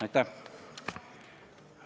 Aitäh!